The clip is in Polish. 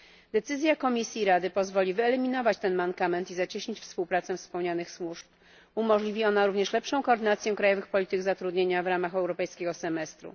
Decyzja Komisji i Rady pozwoli wyeliminować ten mankament i zacieśnić współpracę wspomnianych służb, umożliwi ona również lepszą koordynację krajowych polityk zatrudnienia w ramach europejskiego semestru.